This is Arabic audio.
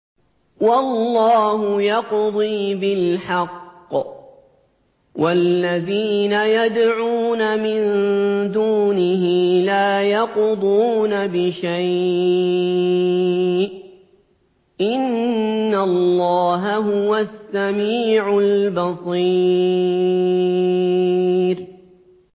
وَاللَّهُ يَقْضِي بِالْحَقِّ ۖ وَالَّذِينَ يَدْعُونَ مِن دُونِهِ لَا يَقْضُونَ بِشَيْءٍ ۗ إِنَّ اللَّهَ هُوَ السَّمِيعُ الْبَصِيرُ